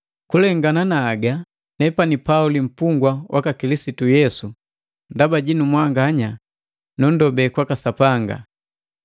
Kulengana na haga, nepani Pauli, mpungwa waka Kilisitu Yesu ndaba jinu mwanganya, nunndobe Sapanga.